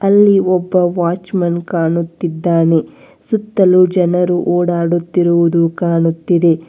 ಅಲ್ಲಿ ಒಬ್ಬ watchman ಕಾಣುತ್ತಿದ್ದಾನೆ ಸುತ್ತಲು ಜನರು ಓಡಾಡುತ್ತಿರುವುದು ಕಾಣುತ್ತಿದೆ.